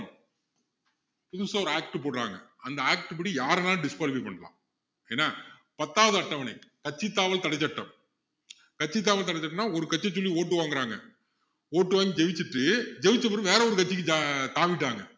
புதுசா ஒரு act போடுறாங்க அந்த act படி யாரை வேணும்னாலும் disqualify பண்ணலாம் ஏன்னா பத்தாவது அட்டவணை கட்சித்தாவல் தடைச்சட்டம் கட்சித்தாவல் தடைச்சட்டம்னா ஒரு கட்சிய சொல்லி vote வாங்குறாங்க vote வாங்கி ஜெயிச்சிட்டு ஜெயிச்ச பிறகு வேற ஒரு கட்சிக்கு தா~தாவிடுறாங்க